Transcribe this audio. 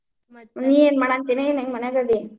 ಏನ್ ಮಾಡತೀ? ಹೆಂಗ್ ಮನ್ಯಾಗ್ ಅದಿ?